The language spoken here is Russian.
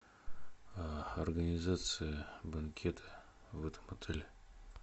организация банкета в этом отеле